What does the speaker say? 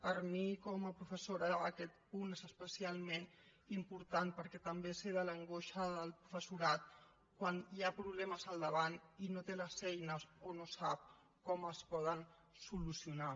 per mi com a professora aquest punt és especialment important perquè també sé l’angoixa del professorat quan hi ha problemes al davant i no té les eines o no sap com es poden solucionar